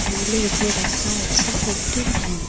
টুলের উপরে রাখা আছে একটি ফ্যান ।